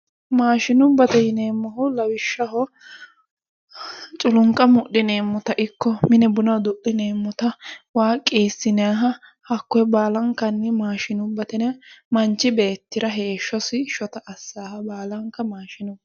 Maashinubbate yineemohu lawishshaho culuniqa mudhineemota ikko mine buna idu'lineemota waa qiisinayiha hakkoue baalanikkanni maashinubbate yinayi manichi beetira heeshosi shota assaaha baalanikka maashinubbate yineemo